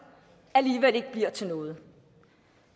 alligevel ikke bliver til noget